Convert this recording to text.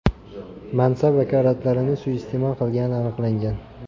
mansab vakolatlarini suiiste’mol qilgani aniqlangan.